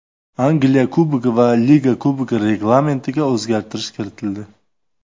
Angliya Kubogi va Liga Kubogi reglamentiga o‘zgartirish kiritildi.